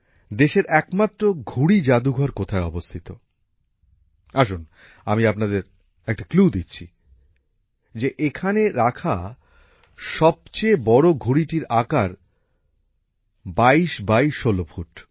দেশের একমাত্র ঘুড়ি জাদুঘর কোথায় অবস্থিত আসুন আমি আপনাদের একটা ক্লু দিচ্ছি যে এখানে রাখা সবচেয়ে বড় ঘুড়িটির আকার ২২ বাই ১৬ ফুট